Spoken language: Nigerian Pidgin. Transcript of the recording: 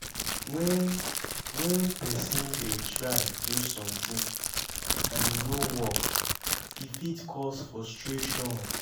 when when person dey try do something and e no work e fit cause frustration